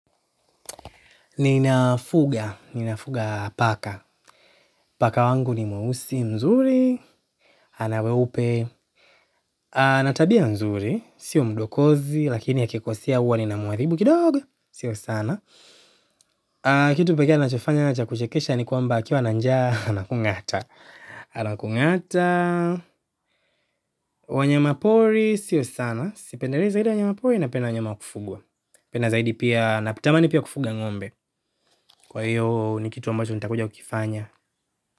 Ninafuga, ninafuga paka. Paka wangu ni mweusi mzuri ana weupe ana tabia nzuri sio mdokozi lakini akikosea huwa ninamharibu kidogo sio sana. Kitu pekee anochofanya cha kuchekesha ni kwamba akiwa na njaa, anakungata. Anakungata. Wanyama pori, sio sana. Sipendelei zaidi wanyama pori napenda wanyama wa kufugwa. Napenda zaidi pia, natamani pia kufuga ngombe. Kwa hiyo ni kitu ambacho nitakuja kukifanya.